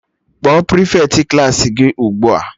Kpọọ prịfeti Klassị gị ugbua!